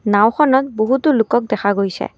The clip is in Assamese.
নাওঁখনত বহুতো লোকক দেখা গৈছে।